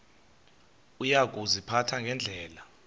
uya kuziphatha ngendlela